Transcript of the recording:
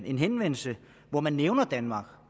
en henvendelse hvori man nævner danmark